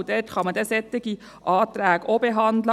Dort kann man dann solche Anträge auch behandeln.